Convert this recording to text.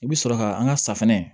I bɛ sɔrɔ ka an ka safunɛ